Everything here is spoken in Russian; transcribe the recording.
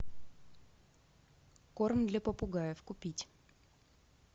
корм для попугаев купить